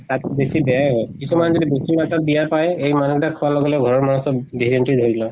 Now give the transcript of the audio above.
তাত্কে বেছি বেয়াই হয়। কিছুমান যদি বেয়া পায়, এই মানুহ কেইটা খোৱা লগে লগে ঘৰৰ মানুহ চব dysentery ধৰি লয়।